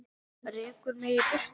Rekur mig í burtu?